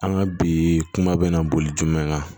An ka bi kuma bɛ na boli jumɛn kan